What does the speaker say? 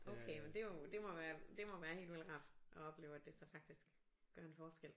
Okay men det jo det må være det må være helt vildt rart at opleve at det så faktisk gør en forskel